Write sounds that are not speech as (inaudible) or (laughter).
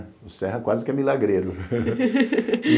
O Serra quase que é milagreiro. (laughs)